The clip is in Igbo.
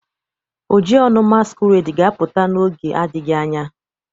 Ojionu masquerade ga-apụta n'oge adịghị anya